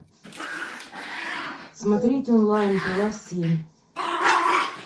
смотреть онлайн пила семь